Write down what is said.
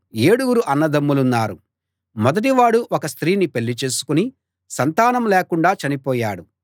ఏడుగురు అన్నదమ్ములున్నారు మొదటి వాడు ఒక స్త్రీని పెళ్ళి చేసుకుని సంతానం లేకుండా చనిపోయాడు